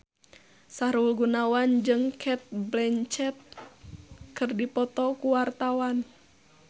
Sahrul Gunawan jeung Cate Blanchett keur dipoto ku wartawan